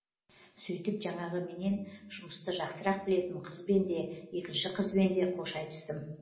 сөйтіп жаңағы менен жұмысты жақсырақ білетін қызбен де екінші қызбенде қош айтыстым